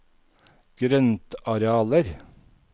grøntarealer